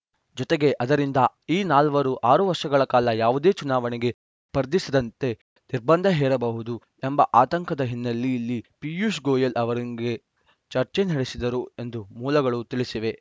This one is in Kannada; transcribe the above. ಜೊತೆಗೆ ಅದರಿಂದ ಈ ನಾಲ್ವರು ಆರು ವರ್ಷಗಳ ಕಾಲ ಯಾವುದೇ ಚುನಾವಣೆಗೆ ಸ್ಪರ್ಧಿಸದಂತೆ ನಿರ್ಬಂಧ ಹೇರಬಹುದು ಎಂಬ ಆತಂಕದ ಹಿನ್ನೆಲೆಯಲ್ಲಿ ಪಿಯೂಷ್‌ ಗೋಯಲ್‌ ಅವರೊಂದಿಗೆ ಚರ್ಚೆ ನಡೆಸಿದರು ಎಂದು ಮೂಲಗಳು ತಿಳಿಸಿವೆ